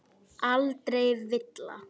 Aldrei villa.